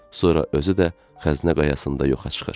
Sonra özü də xəzinə qayasında yoxa çıxır.